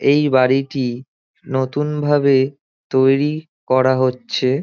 এই বাড়িটি নতুনভাবে তৈরী করা হচ্ছে।